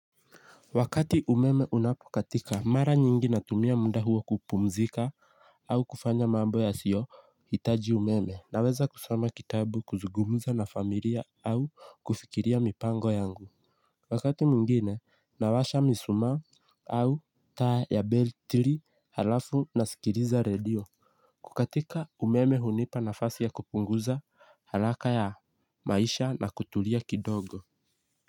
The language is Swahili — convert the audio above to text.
Wakati umeme unapokatika mara nyingi natumia muda huo kupumzika au kufanya mambo yasiyohitaji umeme naweza kusoma kitabu kuzungumza na familia au kufikiria mipango yangu. Wakati mwingine nawasha mishumaa au taa ya betri halafu nasikiliza redio. Kukatika umeme hunipa nafasi ya kupunguza haraka ya maisha na kutulia kidogo.